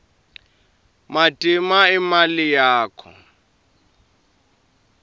matima imali yakho